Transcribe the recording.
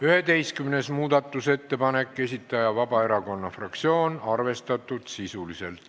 11. muudatusettepaneku esitaja on Vabaerakonna fraktsioon, arvestatud sisuliselt.